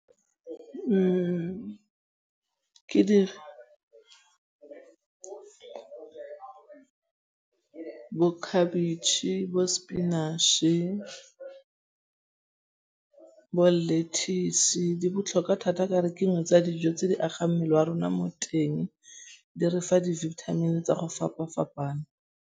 Ke bokhabetšhe, bo-spinach-e, bo-lettuce. Di botlhokwa thata ka gore ke dingwe tsa dijo tse di agang mmele wa rona mo teng. Di re fa di-vitamin tsa go fapa-fapana.